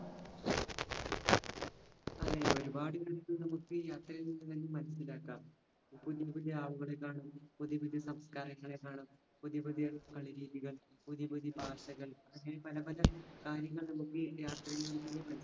അഹ് ഒരുപ്പാട് നമുക്കീ യാത്രകളിൽ നിന്നും മനസ്സിലാക്കാം. പുതിയപുതിയ ആളുകളെ കാണാം. പുതിയപുതിയ സംസ്കാരങ്ങളെ കാണാം. പുതിയപുതിയ രീതികൾ. പുതിയപുതിയ ഭാഷകൾ. അങ്ങിനെ പലപല കാര്യങ്ങൾ നമ്മുകീ യാത്രയിൽ നിന്നും